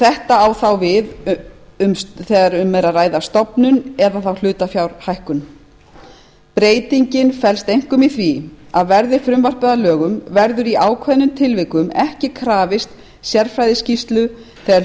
þetta á þá við þegar um er að ræða stofnun eða hlutafjárhækkun breytingin felst einkum í því að verði frumvarpið að lögum verður í ákveðnum tilvikum ekki krafist sérfræðiskýrslu þegar